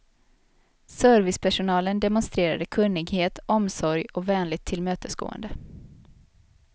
Servispersonalen demonstrerade kunnighet, omsorg och vänligt tillmötesgående.